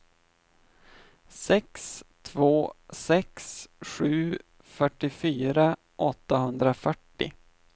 sex två sex sju fyrtiofyra åttahundrafyrtio